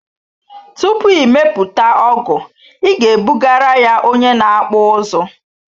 Tupu ị mepụta ọgụ ị ga ebugara ya onye na akpụ ụzụ